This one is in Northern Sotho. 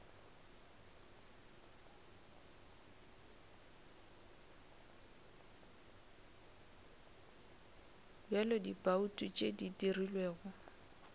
bja dibouto tše di dirilwego